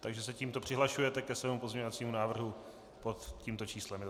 Takže se tímto přihlašujete ke svému pozměňovacímu návrhu pod tímto číslem?